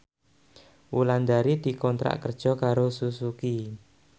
Wulandari dikontrak kerja karo Suzuki